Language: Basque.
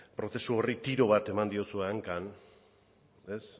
prozesu horri tiro bat eman diozue hankan